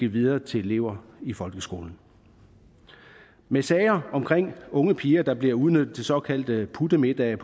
videre til elever i folkeskolen med sager om unge piger der bliver udnyttet til såkaldte puttemiddage